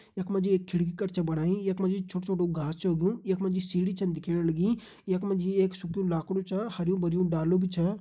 यख मा जी एक खिड़की कर छ बणाई यख मा जी छोटु छोटु घास छ उगयुं यख मा जी सीढ़ी छन दिखेण लगीं यख मा जी एक सुख्यूं लाखड़ु छ हरयूं भरयूं डालू भी छ।